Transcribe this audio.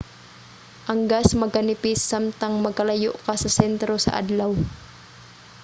ang gas magkanipis samtang magkalayo ka sa sentro sa adlaw